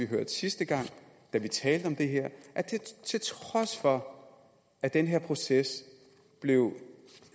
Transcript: høre sidste gang vi talte om det her til trods for at den her proces blev